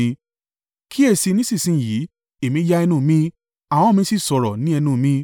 Kíyèsi i nísinsin yìí, èmí ya ẹnu mi, ahọ́n mi sì sọ̀rọ̀ ní ẹnu mi.